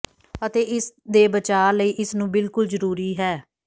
ਅਤੇ ਇਸ ਦੇ ਬਚਾਅ ਲਈ ਇਸ ਨੂੰ ਬਿਲਕੁਲ ਜ਼ਰੂਰੀ ਹੈ